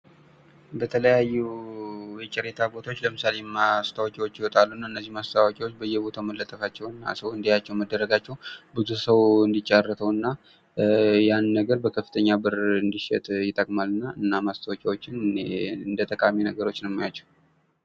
በተለያዩ የጨረታ ቦታዎች ለምሳሌ ማስትዎቂያዎች ይወጣሉ። እና እነዚህ ማስታወቂያዎች በየቦታው መለጠፋቸውን እና ሰው እንዲያያቸው መደረጋችው ብዙ ሰው እንዲጫረተው እና ያን ነገር በከፍተኛ ብር እንዲሸጥ ይጠቅማል።